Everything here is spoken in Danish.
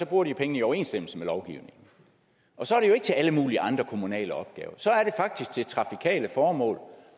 bruger de pengene i overensstemmelse med lovgivningen og så er det jo ikke til alle mulige andre kommunale opgaver så er det faktisk til trafikale formål